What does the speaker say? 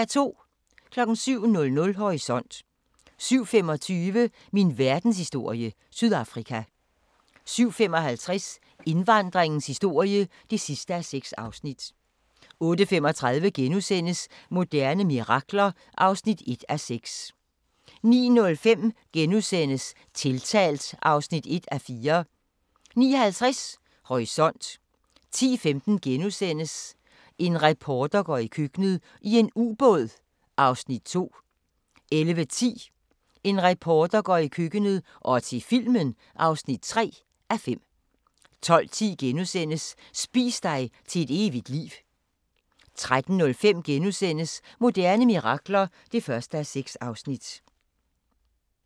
07:00: Horisont 07:25: Min verdenshistorie - Sydafrika 07:55: Indvandringens historie (6:6) 08:35: Moderne mirakler (1:6)* 09:05: Tiltalt (1:4)* 09:50: Horisont 10:15: En reporter går i køkkenet – i en ubåd (2:5)* 11:10: En reporter går i køkkenet – og til filmen (3:5) 12:10: Spis dig til et evigt liv * 13:05: Moderne mirakler (1:6)*